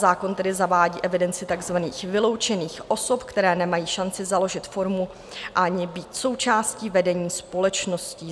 Zákon tedy zavádí evidenci takzvaných vyloučených osob, které nemají šanci založit firmu ani být součástí vedení společností.